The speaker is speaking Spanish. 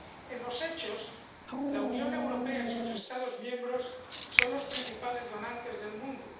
En los hechos, la Unión Europea y sus Estados miembros son los principales donantes del mundo.